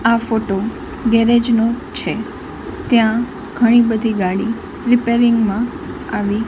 આ photo garage નો છે ત્યાં ઘણી બધી ગાડી રિપેરિંગ મા આવી--